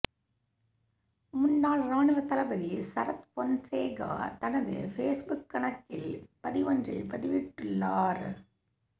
முன்னாள் இராணுவ தளபதி சரத் பொன்சேகா தனது பேஸ்புக் கணக்கில் பதிவொன்றை பதிவிட்டுள்ளார்